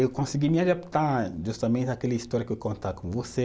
Eu consegui me adaptar justamente àquela história que eu contar com você.